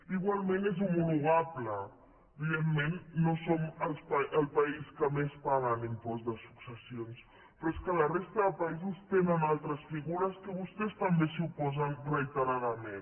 igualment és homologable evidentment no som el país que més paga en impost de successions però és que a la resta de països tenen altres figures que vostès també s’hi oposen reiteradament